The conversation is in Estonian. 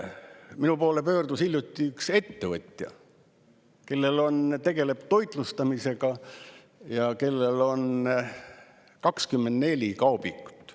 Minu poole pöördus hiljuti üks ettevõtja, kes tegeleb toitlustamisega ja kellel on 24 kaubikut.